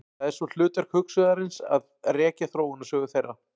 Það er svo hlutverk hugsuðarins að rekja þróunarsögu þeirra.